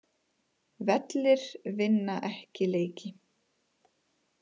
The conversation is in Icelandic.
Vellir vinna ekki leiki